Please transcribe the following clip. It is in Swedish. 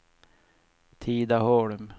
Tidaholm